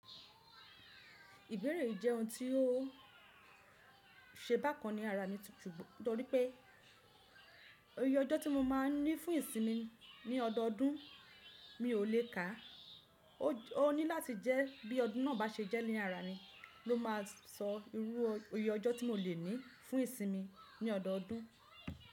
Ìbéèrè yii jẹun tí ó ṣe bákan ni ara mi tutù nítorí pé oyè ọjọ́ tí mo máa ní fún ìsinmi ní ọdọọdún mi ò lè kà. Ó ní láti jẹ́ bí ọdún náà bá ṣe jẹ́ ni ara mi ló máa sọ irú oyè ọjọ́ tí mo lè ní fún ìsinmi ní ọdọọdún.